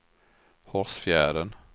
Hårsfjärden